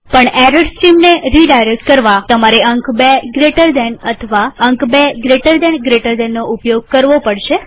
પણ એરર સ્ટ્રીમને રીડાયરેક્ટ કરવાતમારે અંક ૨gtએક જમણા ખૂણાવાળો કૌંસ અથવા અંક ૨gtgtબે જમણા ખૂણાવાળા કૌંસ નો ઉપયોગ કરવો પડશે